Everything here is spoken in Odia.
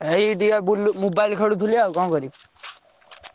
ଏଇ ଟିକେ ବୁଲୁ~ mobile ଖେଳୁଥିଲି ଆଉ କଣ କରିବି?